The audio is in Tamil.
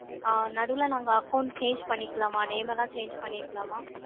ஆ, நடுவுல நாங்க account change பண்ணிக்கலாமா? Name எல்லாம் change பண்ணிக்கலாமா?